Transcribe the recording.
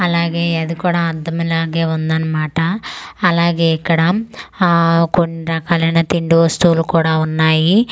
అలాగే ఇది కూడా అద్దంలాగే ఉంది అన్నమాట అలాగే ఇక్కడ ఆ కొన్ని రకాలు అయిన తిండి వస్తువులు కూడా ఉన్నాయి .